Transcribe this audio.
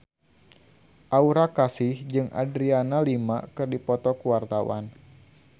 Aura Kasih jeung Adriana Lima keur dipoto ku wartawan